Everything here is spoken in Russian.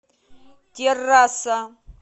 террасса